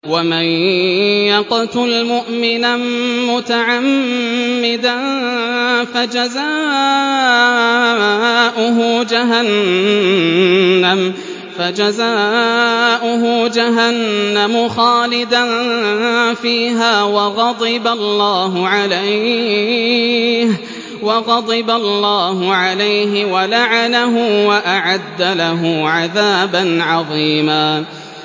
وَمَن يَقْتُلْ مُؤْمِنًا مُّتَعَمِّدًا فَجَزَاؤُهُ جَهَنَّمُ خَالِدًا فِيهَا وَغَضِبَ اللَّهُ عَلَيْهِ وَلَعَنَهُ وَأَعَدَّ لَهُ عَذَابًا عَظِيمًا